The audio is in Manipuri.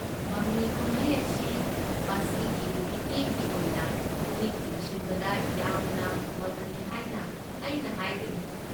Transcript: ꯃꯃꯤ ꯀꯨꯝꯍꯩ ꯑꯁꯤ ꯃꯁꯤꯒꯤ ꯃꯤꯠꯌꯦꯡꯒꯤ ꯑꯣꯏꯅ ꯄꯨꯛꯅꯤꯡ ꯆꯤꯡꯁꯤꯟꯕꯗ ꯌꯥꯝꯅ ꯐꯕꯅꯤ ꯍꯥꯏꯅ ꯑꯩꯅ ꯍꯥꯏꯒꯅꯤ꯫